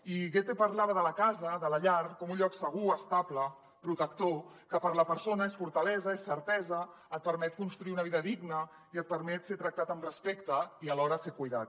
i goethe parlava de la casa de la llar com un lloc segur estable protector que per a la persona és fortalesa és certesa et permet construir una vida digna i et permet ser tractat amb respecte i alhora ser cuidat